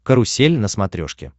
карусель на смотрешке